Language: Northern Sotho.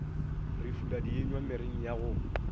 re fula dienywa mereng yago